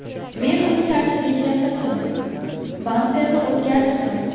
Men uni tartibga keltirdim, bamperni o‘zgartirdim.